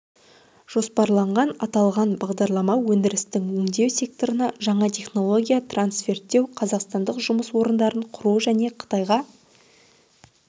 жоспарланған аталған бағдарлама өндірістің өңдеу секторына жаңа технология трансферттеу қазақстандық жұмыс орындарын құру және қытайға